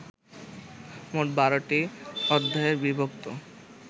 মোট ১২টি অধ্যায়ে বিভক্ত